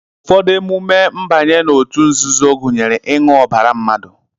ụfọdụ emume mbanye n'òtù nzuzo gụnyere ịṅụ ọbara mmadụ